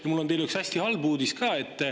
Ja mul on teile üks hästi halb uudis ka.